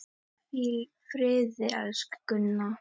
Hvíl í friði, elsku Gunna.